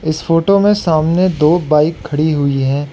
इस फोटो में सामने दो बाइक खड़ी हुई है।